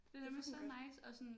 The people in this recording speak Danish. Det er fucking godt